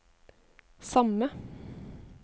samme